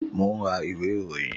Mo ń ra ìwé ìròyìn